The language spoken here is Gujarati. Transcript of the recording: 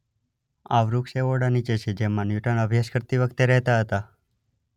આ વૃક્ષ એ ઓરડા નીચે છે જેમાં ન્યૂટન અભ્યાસ કરતી વખતે રહેતાં હતા.